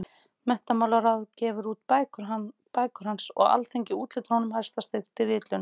Menntamálaráð gefur út bækur hans og Alþingi úthlutar honum hæsta styrk til ritlauna.